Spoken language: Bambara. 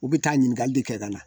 U bɛ taa ɲininkali de kɛ ka na